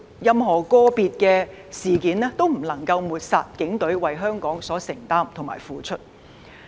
任何個別事件也不能抹煞警隊為香港所作的付出。